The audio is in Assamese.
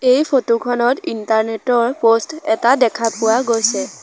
এই ফটো খনত ইণ্টাৰনেট ৰ প'ষ্ট এটা দেখা পোৱা গৈছে।